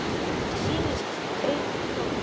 Mér sýnast augu þín tóm.